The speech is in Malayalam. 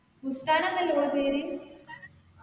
ബുസ്താന എന്നല്ലേ ഓളെ പേര്